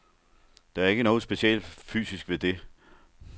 Der er ikke noget specielt fysisk ved det.